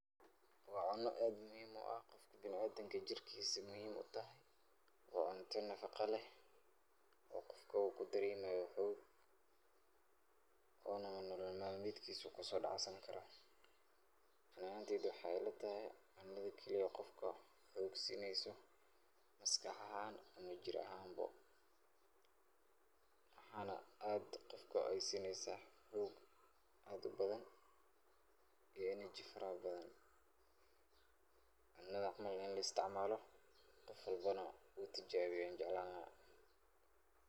Waa cuno aad muhim u ah, qofka bini adamka jirkis aya muhim utahay. waa cunta nafaqa leh oo qofka ugu dareemayo xoog ona nolol melmedkis uu kaso dhacsan karo. Ani ahanteyda waxay ila tahay cunada keliye qofka xoog sineysa maskax ahan ama jir ahan bo, waxan aad qofka ay sineysa xoog aad ubadan iyo energy fara badan, Cunadan camal ini loo isticmaalo qof walbona uu tijaabiyo yan jeclan laha